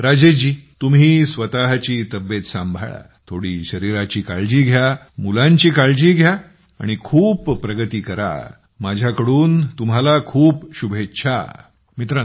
चला राजेशजीतुम्ही स्वतःची तब्येत सांभाळा थोडी शरीराची काळजी घ्या मुलांची काळजी घ्या आणि खूप प्रगती करा माझ्या कडून तुम्हाला खूप शुभेच्छा